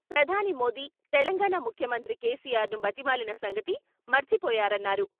ప్రధాని మోదీ, తెలంగాణ ముఖ్యమంత్రి కేసీఆర్ను బతిమాలిన సంగతి మరిచిపోయారన్నారు.